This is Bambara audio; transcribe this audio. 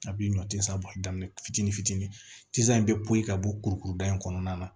A bi ɲɔ tisaa bɔ a daminɛ fitini fitini tinze in be poyi ka bɔ kurukuru da in kɔnɔna na